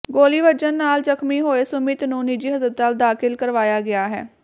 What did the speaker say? ਗੋਲੀ ਵੱਜਣ ਨਾਲ ਜ਼ਖਮੀ ਹੋਏ ਸੁਮਿਤ ਨੂੰ ਨਿੱਜੀ ਹਸਪਤਾਲ ਦਾਖਲ ਕਰਵਾਇਆ ਗਿਆ ਹੈ